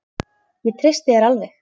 Ég treysti þér alveg!